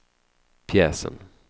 pjäsen